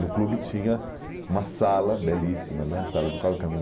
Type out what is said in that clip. No clube tinha uma sala belíssima, né? Sala de